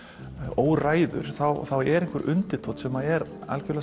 óræður er einhver undirtónn sem er